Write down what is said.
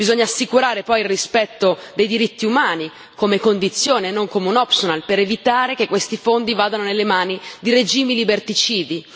Bisogna poi assicurare il rispetto dei diritti umani come condizione, non come un optional per evitare che questi fondi vadano nelle mani di regimi liberticidi.